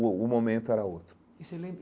O o momento era outro e você lembra.